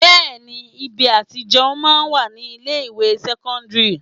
Bẹẹni ibi àti jẹun máa ń wà ní ilé ìwé sẹ́kọ́ńdírì.